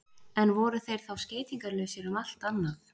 En voru þeir þá skeytingarlausir um allt annað?